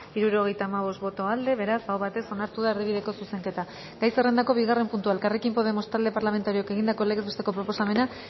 hirurogeita hamabost boto aldekoa beraz aho batez onartu da erdibideko zuzenketa gai zerrendako bigarren puntua elkarrekin podemos talde parlamentarioak egindako legez besteko proposamena